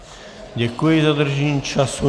Děkuji za dodržení času.